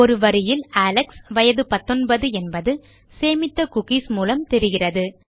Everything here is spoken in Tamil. ஒரு வரியில் அலெக்ஸ் வயது 19 என்பது சேமித்த குக்கீஸ் மூலம் தெரிகிறது